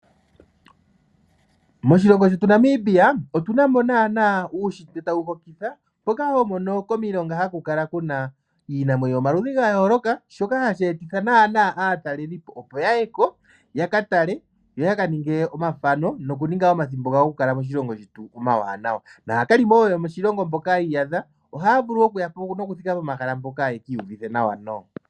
Moshilongi shetu Namibia otu na mo naana uunshitwe tawu hokitha mboka to mono nana komailonga. Kiinamwenyo yomaludhi ga yooloka, shoka hashi etitha nana atalelipo opo ya ye konyala tale noku minga wo omathano omawanawa. Naakalimonoka yomoshilingo shetu ohaya yiko wo ye ki iyuvithe nawa.